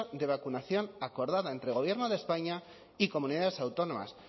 de vacunación acordada entre el gobierno de españa y comunidades autónomas